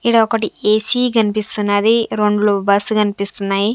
ఈడ ఒకటి ఏ_సి కనిపిస్తున్నది రెండ్లు బస్ కనిపిస్తున్నాయి.